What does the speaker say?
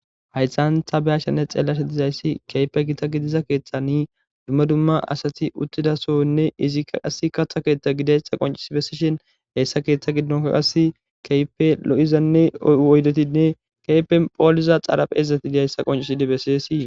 Haysan ta be'ashenne xeelishe dizaysi dumma dumma asati utida sohonne izi qase katha Soho gididaysa qoncisi besishn hessa keetha gidon qaseka keehippe lo'iza oydetinne poliza xaraphezati de'zaysa qoncisidi besesi.